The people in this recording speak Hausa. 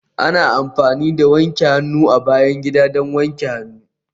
Ana amfani da wanke hannu a bayan gida don wanke hannu